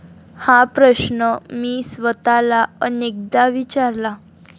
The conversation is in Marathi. हा प्रश्न मी स्वतःला अनेकदा विचारला.